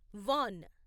van